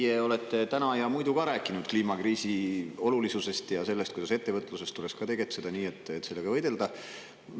Te olete täna ja muidu ka rääkinud kliimakriisi olulisusest ja sellest, kuidas ettevõtluses tuleks tegutseda nii, et selle kliimakriisiga võidelda.